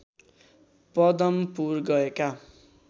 पदमपुर गएका